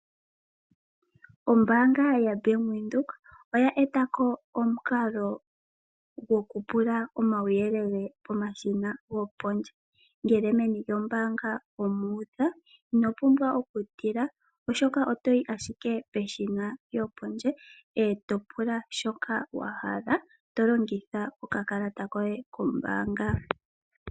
Ombaanga yaBank Windhoek oya eta ko omukalo gokupula omauyelele pomashina gopondje. Ngele meni lyombaanga omu udha ino pumbwa okutila, oshoka oto yi ashike peshina lyopondje e to pula shoka wa hala to longitha okakalata koye kombaanga.